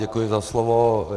Děkuji za slovo.